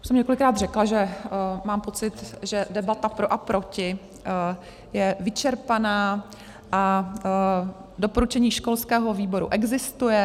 Už jsem několikrát řekla, že mám pocit, že debata pro a proti je vyčerpaná, a doporučení školského výboru existuje.